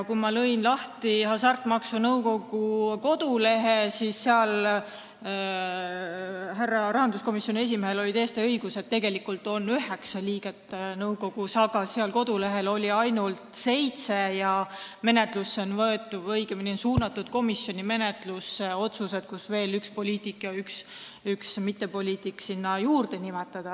Kui ma lõin lahti Hasartmängumaksu Nõukogu kodulehe, siis nägin, et seal nõukogus – härra rahanduskomisjoni esimehel oli täiesti õigus – on tegelikult üheksa liiget, aga kodulehel oli ainult seitse ja komisjoni menetlusse on võetud või õigemini suunatud otsused, et veel üks poliitik ja üks mittepoliitik sinna nimetada.